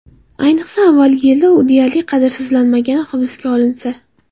Ayniqsa, avvalgi yilda u deyarli qadrsizlanmagani hisobga olinsa.